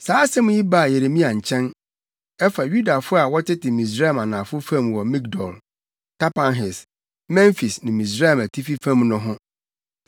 Saa asɛm yi baa Yeremia nkyɛn; ɛfa Yudafo a wɔtete Misraim anafo fam wɔ Migdol, Tapanhes, Memfis ne Misraim atifi fam no ho.